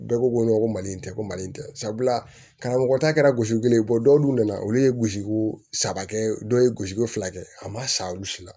Bɛɛ ko ko ko mali in tɛ ko mali tɛ sabula karamɔgɔ ta gosi kelen bɔ dɔwlu nana olu ye gosiko saba kɛ dɔw ye gosiko fila kɛ a ma sa olu si la